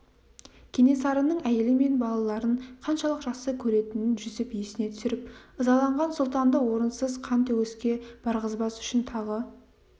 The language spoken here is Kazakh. кенесарының әйелі мен балаларын қаншалық жақсы көретінін жүсіп есіне түсіріп ызаланған сұлтанды орынсыз қан төгіске барғызбас үшін тағы